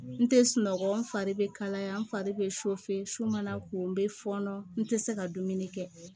N tɛ sunɔgɔ n fari bɛ kalaya n fari bɛ su mana ko n bɛ fɔɔnɔ n tɛ se ka dumuni kɛ